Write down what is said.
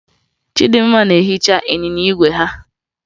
Chịdịmma na-ehicha ịnyịnya igwe ya